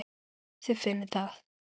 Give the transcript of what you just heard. Þið finnið það?